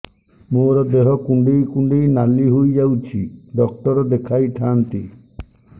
ମୋର ଦେହ କୁଣ୍ଡେଇ କୁଣ୍ଡେଇ ନାଲି ହୋଇଯାଉଛି ଡକ୍ଟର ଦେଖାଇ ଥାଆନ୍ତି